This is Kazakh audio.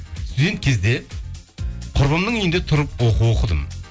студент кезде құрбымның үйінде тұрып оқу оқыдым